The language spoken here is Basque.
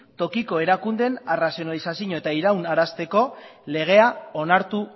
tokiko erakundeen arrazionalizazioa eta iraunarazteko legea onartu